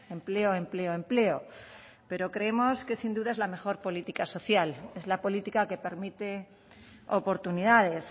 empleo empleo empleo pero creemos que sin duda es la mejor política social es la política que permite oportunidades